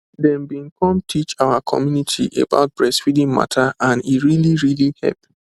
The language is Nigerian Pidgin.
dem bin come teach our community about breastfeeding mata and e really really hep